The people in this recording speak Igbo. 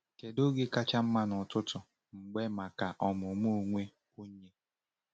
Kedu oge kacha mma n’ọtụtụ mgbe maka ọmụmụ onwe onye?